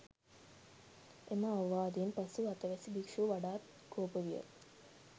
එම අවවාදයෙන් පසු අතවැසි භික්‍ෂුව වඩාත් කෝප විය.